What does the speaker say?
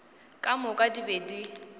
ka moka di be di